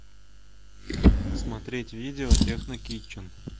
смотреть видео техно китчен